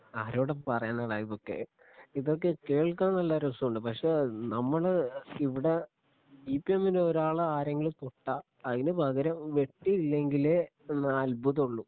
ആരോട് പറയാനാട ഇതൊക്കെ ഇതൊക്കെ കേൾക്കാൻ നല്ല രസമുണ്ട് പക്ഷേ നമ്മള് ഇവിടെ സിപിഎമ്മിൻ്റെ ഒരാളെ ആരെങ്കിലും തൊട്ടാ അതിനുപകരം വെട്ടിയില്ലെങ്കിലേ എന്നാ അത്ഭുതമുള്ളൂ